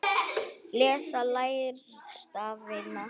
Lesa- læra stafina